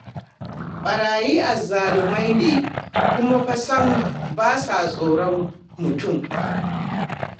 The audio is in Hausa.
Ɓeraye azzalumai ne, kuma fa sam ba sa tsoron mutum.